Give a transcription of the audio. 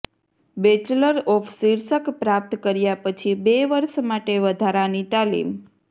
bachelor of શીર્ષક પ્રાપ્ત કર્યા પછી બે વર્ષ માટે વધારાની તાલીમ